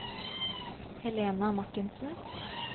Helena Martinsen